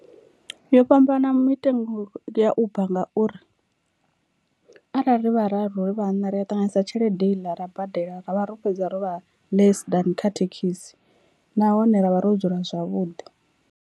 Yo fhambana mitengo ya uber ngauri arali ri vhararu ri vhaṋa ri a ṱanganisa tshelede heiḽa ra badela ra vha ro fhedza ro vha less than kha thekhisi nahone ra vha ro dzula zwavhuḓi.